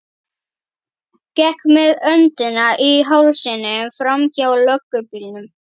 Gekk með öndina í hálsinum framhjá löggubílnum.